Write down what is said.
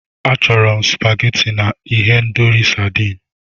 Achọrọ m supageti na ihendori sadịn.